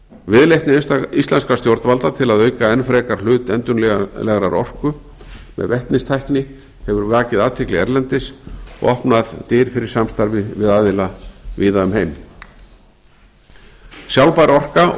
viðleitni íslenskra stjórnvalda til að auka enn frekar hlut endurnýjanlegrar orku með vetnistækni hefur vakið athygli erlendis og opnað dyr fyrir samstarfi við aðila víða um heim sjálfbær orka og